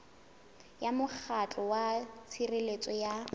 ya mokgatlo wa tshireletso ya